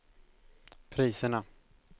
priserna